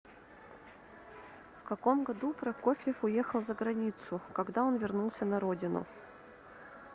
в каком году прокофьев уехал за границу когда он вернулся на родину